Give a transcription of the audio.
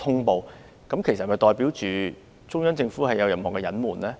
這是否代表中央政府有所隱瞞？